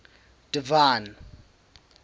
divine